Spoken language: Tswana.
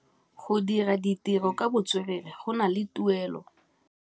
Go dira ditirô ka botswerere go na le tuelô.